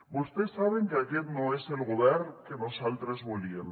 vostès saben que aquest no és el govern que nosaltres volíem